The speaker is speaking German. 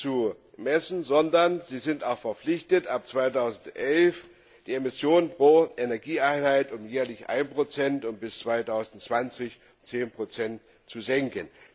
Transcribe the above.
zu messen, sondern sie sind auch verpflichtet, ab 2011 die Emission pro Energieeinheit um jährlich 1 und bis 2020 um 10 zu senken.